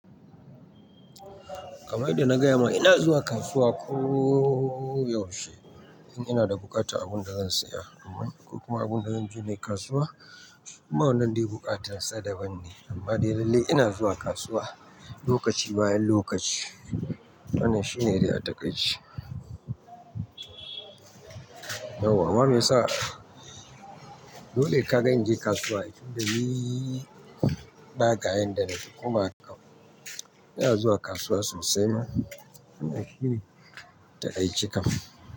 Kamar yadda na gaya ma ina zuwa kasuwa kooo yaushe, in ina da buƙatar abun da zan saya. Amma ko kuma abun da zan je nayi kasuwa. Amma wannan dai buƙatar sa daban ne amma dai lallai ina zuwa kasuwa lokaci bayan lokaci. Wannan shine dai a takaice. Yauwa ma me yasa, dole ka ga in je kasuwa? Dan niii ba kayan da nake. Kuma ina zuwa kasuwa sosai ma, ina shirin ta aiki kam.